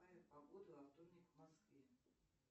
какая погода во вторник в москве